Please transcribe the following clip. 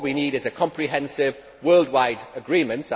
What we need is a comprehensive worldwide agreement.